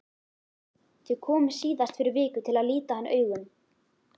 Þau komu síðast fyrir viku til að líta hann augum.